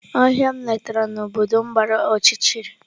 Ohia m letara na obodo m gbara ọchịchịrị.